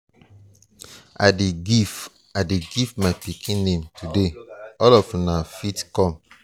i dey give i dey give my pikin name today all of una fit come.